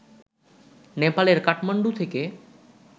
নেপালের কাঠমান্ডু থেকে